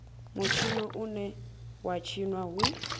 mutshino une wa tshinwa hu